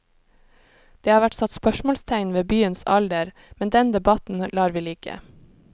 Det har vært satt spørsmålstegn ved byens alder, men den debatten lar vi ligge.